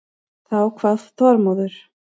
Þá kvað Þormóður